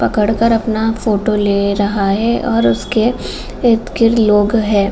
पकर कर अपना फोटो ले रहा है और उसके इर्द-गिर्द लोग हैं।